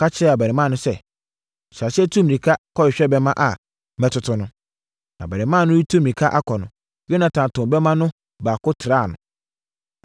Ɔka kyerɛɛ abarimaa no sɛ, “Hyɛ aseɛ tu mmirika kɔhwehwɛ bɛmma a metoto no.” Na abarimaa no retu mmirika akɔ no, Yonatan too bɛmma no baako traa no.